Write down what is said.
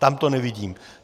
Tam to nevidím.